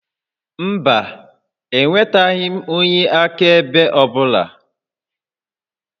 Mba, ewetaghị m onye akaebe ọ bụla